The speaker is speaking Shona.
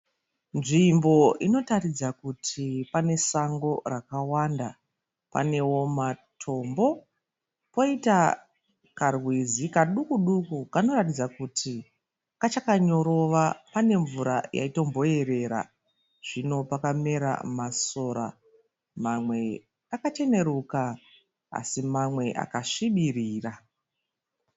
Nzvimbo inoratidza kuti pane sango rakawanda. Panewo matombo poita karwizi kanoratidza kuti kachakanyorova pane mvura yaitomboyerera, zvino pakamera masora mamwe akacheneruka asi mamwe akasvibirira.